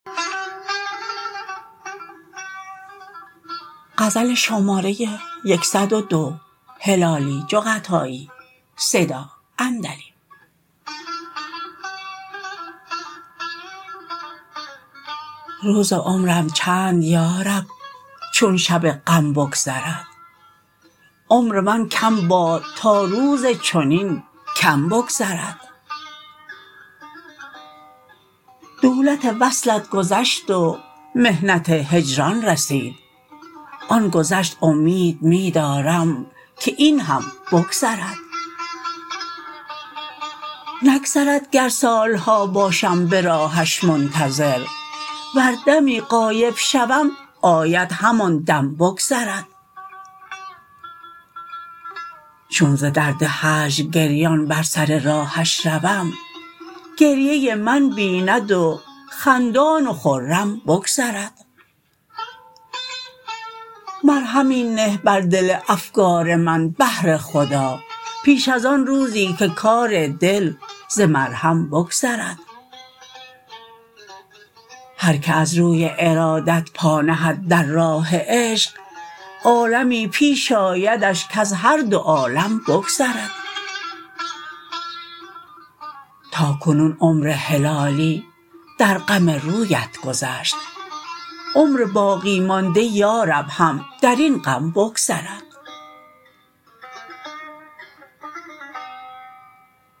روز عمرم چند یارب چون شب غم بگذرد عمر من کم باد تا روز چنین کم بگذرد دولت وصلت گذشت و محنت هجران رسید آن گذشت امید می دارم که این هم بگذرد نگذرد گر سالها باشم براهش منتظر ور دمی غایب شوم آید همان دم بگذرد چون ز درد هجر گریان بر سر راهش روم گریه من بیند و خندان و خرم بگذرد مرهمی نه بر دل افگار من بهر خدا پیش ازان روزی که کار دل ز مرهم بگذرد هر که از روی ارادت پا نهد در راه عشق عالمی پیش آیدش کز هر دو عالم بگذرد تا کنون عمر هلالی در غم رویت گذشت عمر باقی مانده یارب هم درین غم بگذرد